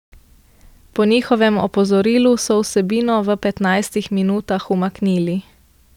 Po njihovem opozorilu so vsebino v petnajstih minutah umaknili.